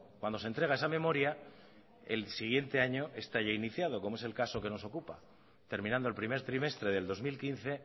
cuando se entrega esa memoria el siguiente año está ya iniciado como es el caso que nos ocupa terminando el primer trimestre del dos mil quince